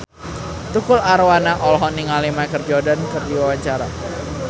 Tukul Arwana olohok ningali Michael Jordan keur diwawancara